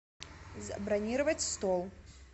забронировать стол